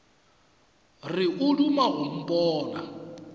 re o duma go mpona